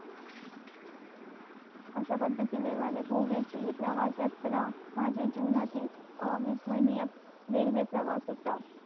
अश्या पद्धतिने हि माझी गोव्या ची प्रवास यात्रा माझ्या जीवनातील रेल्वे प्रवास होता